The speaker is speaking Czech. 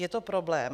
Je to problém.